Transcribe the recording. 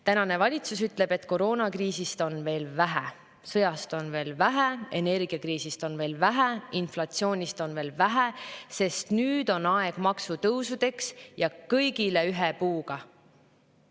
Tänane valitsus ütleb, et koroonakriisist on veel vähe, sõjast on veel vähe, energiakriisist on veel vähe, inflatsioonist on veel vähe, nüüd on aeg maksutõusudeks, ja kõigile ühe puuga.